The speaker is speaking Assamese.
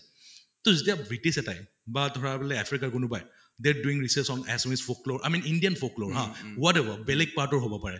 তʼ যেতিয়া british এটাই বা ধৰা বোলে আফ্ৰিকাৰ কোনোবাই they are doing research on assumes folklore i mean indian folklore whatever বেলেগ part অৰ হʼব পাৰে